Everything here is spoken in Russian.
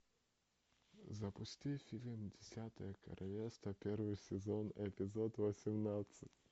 запусти фильм десятое королевство первый сезон эпизод восемнадцать